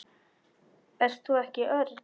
Ert þú ekki Örn?